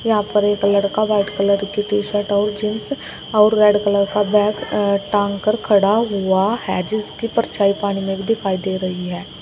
यहां पर एक लड़का व्हाइट कलर की टी शर्ट और जींस और रेड कलर का बैग टांगकर खड़ा हुआ है जिसकी परछाई पानी में दिखाई दे रही है।